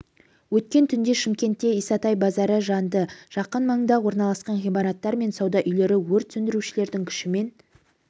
өткен түнде шымкентте исатай базары жанды жақын маңда орналасқан ғимараттар мен сауда үйлері өрт сөндірушілердің күшімен